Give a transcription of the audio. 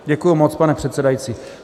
Děkuji moc, pane předsedající.